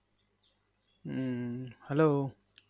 উম Hello